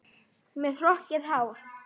Með hrokkið hár.